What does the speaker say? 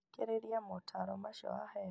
Thikĩrĩria motaro macio waheo